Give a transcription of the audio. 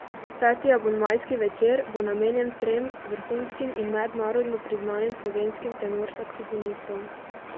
Peti abonmajski večer bo namenjen trem vrhunskim in mednarodno priznanim slovenskim tenor saksofonistom.